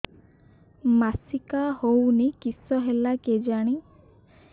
ମାସିକା ହଉନି କିଶ ହେଲା କେଜାଣି